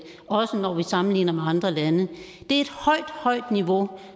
også når vi sammenligner med andre lande det er et højt højt niveau